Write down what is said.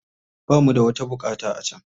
Ba mu da wata buƙata a can.